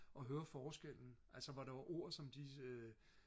og høre forskellen altså hvor der var ord som de øh